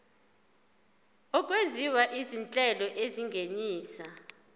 okwenziwa izinhlelo ezingenisa